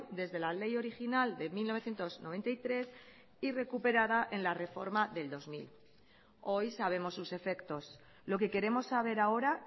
desde la ley original de mil novecientos noventa y tres y recuperada en la reforma del dos mil hoy sabemos sus efectos lo que queremos saber ahora